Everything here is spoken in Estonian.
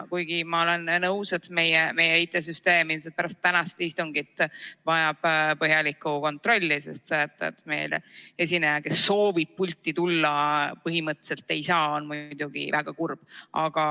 Kuigi ma olen nõus, et meie IT-süsteem ilmselt pärast tänast istungit vajab põhjalikku kontrolli, sest see, et meil esineja, kes soovib pulti tulla, põhimõtteliselt ei saa, on muidugi väga kurb.